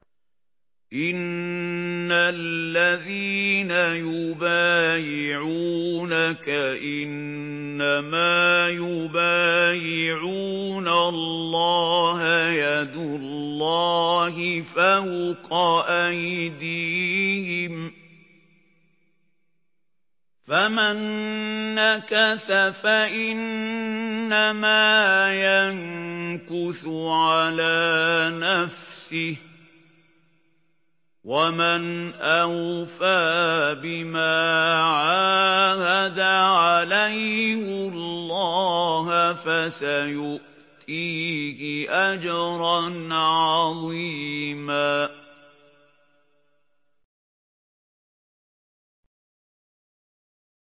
إِنَّ الَّذِينَ يُبَايِعُونَكَ إِنَّمَا يُبَايِعُونَ اللَّهَ يَدُ اللَّهِ فَوْقَ أَيْدِيهِمْ ۚ فَمَن نَّكَثَ فَإِنَّمَا يَنكُثُ عَلَىٰ نَفْسِهِ ۖ وَمَنْ أَوْفَىٰ بِمَا عَاهَدَ عَلَيْهُ اللَّهَ فَسَيُؤْتِيهِ أَجْرًا عَظِيمًا